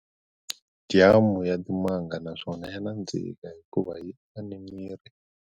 Jamu ya timanga naswona ya nandzika hikuva yi aka ni miri.